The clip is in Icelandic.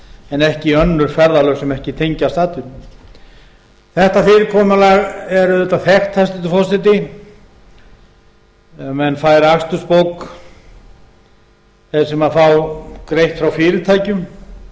en ekki önnur ferðalög sem ekki tengjast atvinnunni þetta fyrirkomulag er auðvitað þekkt hæstvirtur forseti að menn færi akstursbók þeir sem fá greitt frá fyrirtækjum